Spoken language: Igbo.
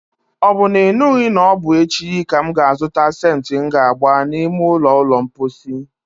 Ọ bụ na ị nụghị na ọbụ echi ka m ga azụta sentị m ga agba n'ime ụlọ ulo mposi?